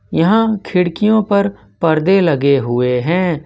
यहां खिड़कियों पर परदे लगे हुए हैं।